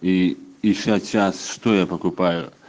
и и сейчас что я покупаю